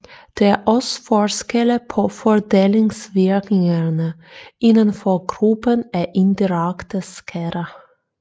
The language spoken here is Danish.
Der er også forskelle på fordelingsvirkningerne inden for gruppen af indirekte skatter